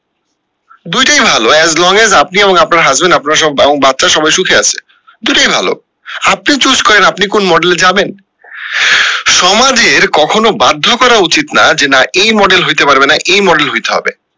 দুইটাই ভালো as long as আপনি এবং আপনার husband আপনারা সব এবং বাচ্চারা সবাই সুখে আসে দুটোই ভালো আপনি choose করেন আপনি কোন model এ যাবেন সমাজের কখনো বাধ্য করা উচিত না যে না এই model হইতে পারবে না এই model হইতে হবে